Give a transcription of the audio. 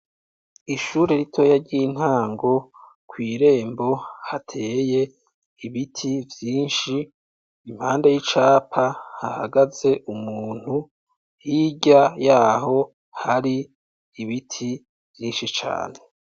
Ishure ritoya ry'intango kw'irembo hateye ibiti vyinshi impande y'icapa hahagaze umuntu, hirya yaho hari ibiti vyinshi cane.